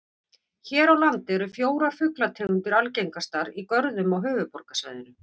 Hér á landi eru fjórar fuglategundir algengastar í görðum á höfuðborgarsvæðinu.